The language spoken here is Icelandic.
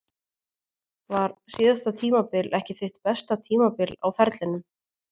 Var síðasta tímabil ekki þitt besta tímabil á ferlinum?